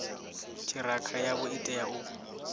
ṱhirakha yavho i tea u